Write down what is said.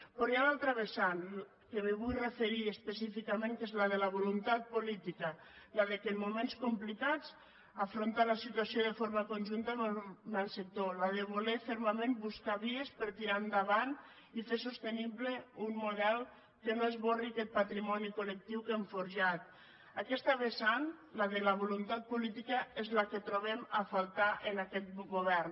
però hi ha l’altra vessant que m’hi vull referir específicament que és la de la voluntat política la de en moments complicats afrontar la situació de forma conjunta amb el sector la de voler fermament buscar vies per tirar endavant i fer sostenible un model que no esborri aquest patrimoni colaquesta vessant la de la voluntat política és la que trobem a faltar en aquest govern